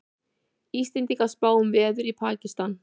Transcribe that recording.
Íslendingar spá um veður í Pakistan